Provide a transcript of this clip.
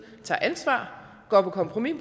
tager ansvar og går på kompromis